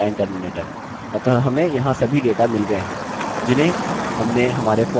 अतः हमें यहाँ सभी डेटा मिल गये हैं जिन्हें हमने हमारे फॉर्म से निकाला था